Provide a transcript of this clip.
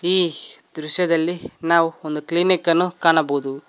ಈ ದೃಶ್ಯದಲ್ಲಿ ನಾವು ಒಂದು ಕ್ಲಿನಿಕ್ ಅನ್ನು ಕಾಣಬಹುದು.